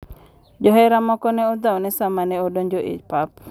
Johera moko ne odhawne sama ne odonje e pap.